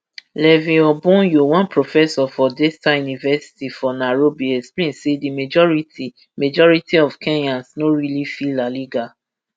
levi obonyo one professor for daystar university for nairobi explain say di majority majority of kenyans no really feel la liga